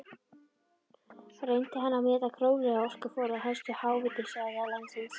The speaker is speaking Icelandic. Reyndi hann að meta gróflega orkuforða helstu háhitasvæða landsins.